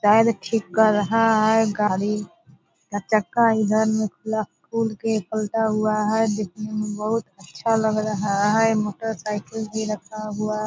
tyre ठीक कर रहा है गाड़ी का चक्का इधर मुँह खुला खुल के खुलता हुआ है दिखने में बहुत अच्छा लग रहा है मोटरसाइकिल भी रखा हुआ --